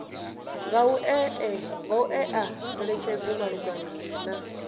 nga u ṅea ngeletshedzo malugana